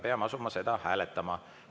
Peame asuma seda hääletama.